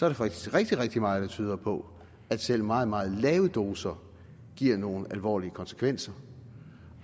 der faktisk rigtig rigtig meget der tyder på at selv meget meget lave doser giver nogle alvorlige konsekvenser